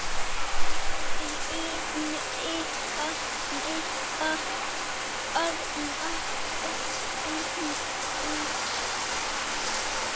Reyndi að miða barnagæluna út.